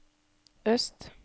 øst